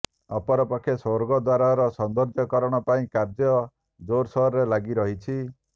ଅପରପକ୍ଷେ ସ୍ୱର୍ଗଦ୍ୱାରର ସୌନ୍ଦର୍ଯ୍ୟ କରଣ ପାଇଁ କାର୍ଯ୍ୟ ଜୋରସୋରରେ ଲାଗିରହିଛି